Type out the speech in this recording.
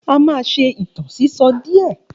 A máa ṣe ìtàn sísọ díè